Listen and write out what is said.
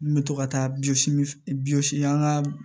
N bɛ to ka taa bi min an ka